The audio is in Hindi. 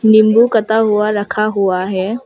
नींबू कटा हुआ रखा हुआ है।